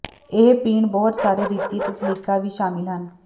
ਇਹ ਪੀਣ ਬਹੁਤ ਸਾਰੇ ਰੀਤੀ ਅਤੇ ਸਲੀਕਾ ਵੀ ਸ਼ਾਮਲ ਹਨ